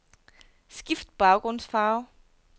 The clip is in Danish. Skift baggrundsfarve.